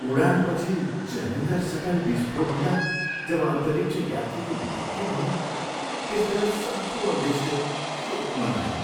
उडानपछि Challenger shuttle विस्फोट हुँदा जब अन्तरिक्ष यात्रीको मृत्यु भयो त्यसबेला सम्पूर्ण देशले शोक मनायो।